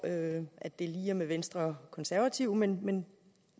at det lige er med venstre og konservative men